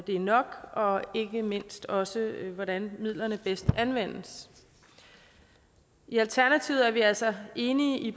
er nok og ikke mindst også hvordan midlerne bedst anvendes i alternativet er vi altså enige i